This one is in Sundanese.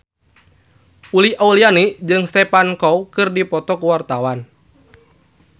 Uli Auliani jeung Stephen Chow keur dipoto ku wartawan